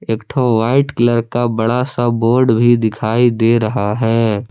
एक ठो white colour का बड़ा सा बोर्ड भी दिखाई दे रहा है।